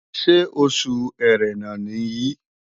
Ṣé Oṣù Ẹrẹ̀nà nìyí?